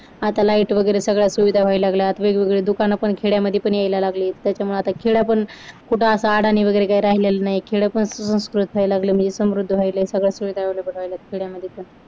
आता light वगैरे सगळ्या सुविधा व्हायला लागल्या वेगवेगळे दुकान पण खेड्यामध्ये यायला लागले आहेत त्याच्यामुळे आता खेड पण कुठे आडाणी न वगैरे काही राहिलेलं नाहीये खेडेकर सुसंस्कृत व्हायला लागलय म्हणजे समृद्ध व्हायला लागलय. सगळ्या सुविधा available व्हायलेट खेड्यामध्ये पण